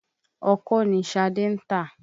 Ọkọ́ ni Ṣadé ń tà.